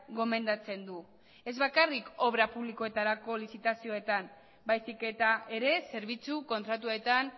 gomendatzen du ez bakarrik obra publikoetarako lizitazioetan baizik eta ere zerbitzu kontratuetan